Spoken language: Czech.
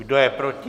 Kdo je proti?